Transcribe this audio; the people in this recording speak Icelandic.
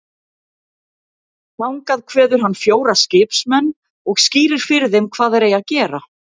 Þangað kveður hann fjóra skipsmenn og skýrir fyrir þeim hvað þeir eigi að gera.